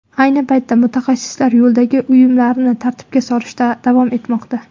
Ayni paytda mutaxassislar yo‘ldagi uyumlarni tartibga solishda davom etmoqda.